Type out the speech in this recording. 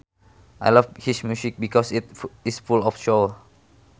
I love his music because it is full of soul